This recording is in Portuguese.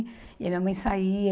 E a minha mãe saía.